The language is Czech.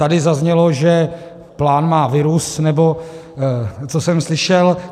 Tady zaznělo, že plán má virus, nebo co jsem slyšel.